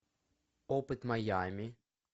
опыт майами